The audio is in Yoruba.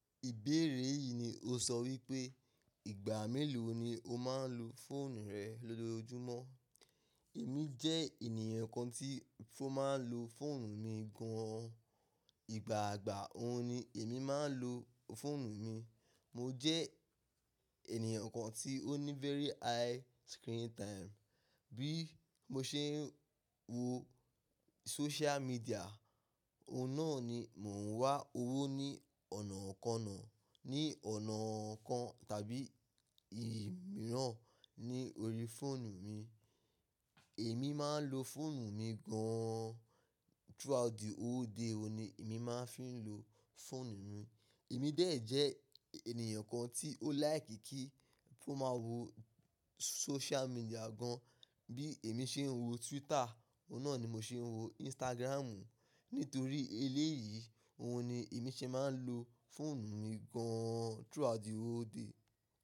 Ìbéèrè yìí ni o sọ wípé ìgbà mélòó ni o máa ń lo fóònù rẹ lójoojúmọ́? Èmi jẹ́ ènìyàn kan tí mo máa ń lo fóònù mi gan an. Ìgbàagbà òun ni èmi máa ń lo fóònù mi. Mo jẹ́ ènìyàn kan tí ó ní very high screen time. Bí mo ṣe ń wo social media, òun náà ni mò ń wá owó ní ọ̀nà ko náà, ní ọ̀nà kan tàbí ìmíràn ní orí fóònù mi. Èmi máa ń lo fóònù mi gan an. Throughout the whole day òun ni èmi máa ń fi ń lo fóònù mi. Èmi dé è jẹ́ ènìyàn kan tí ó like kí n máa wo social media gan an. Bí èmi ṣe ń wo Twitter, òun náà ni mo ṣe ń wo Instagram. Nítorí eléyìí, òun ni èmi ṣe máa ń lo fóònù mi gan an throughout the whole day.